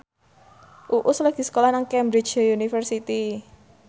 Uus lagi sekolah nang Cambridge University